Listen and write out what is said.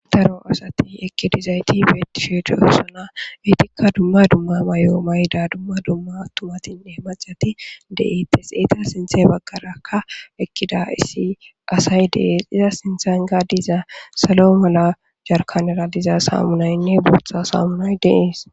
daro asati ekkidizayti beettishe diyosona wiitikka dumma dumma mayo mayda dumma dumma tumatinne macati deiittes eeta sinthe baggarakka ekkida issi asay deees iza sinthan ga diza salo mala jarkanara diza samunaynne bootha saamunoy deees